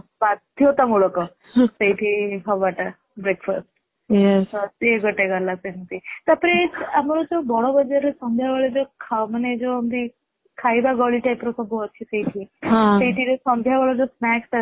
ବାଧ୍ୟତାମୂଳକ ସେଠି ହେବା ଟା breakfast ,ସେ ଗୋଟେ ଗଲା ସେମିତି, ତାପରେ ଆମର ଯୋଉ ବଡ ବଜାର ରେ ସନ୍ଧ୍ୟା ବେଳେ ଜୋ ଖାନା ମାନେ ଜୋ ଖାଇବା ଗଳି type ର ସବୁ ଅଛି ସେଇଠି, ସେଇଠି ସନ୍ଧ୍ୟାବେଳେ ଯୋଉ snacks